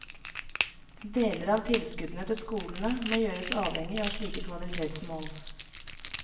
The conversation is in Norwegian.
Deler av tilskuddene til skolene må gjøres avhengig av slike kvalitetsmål.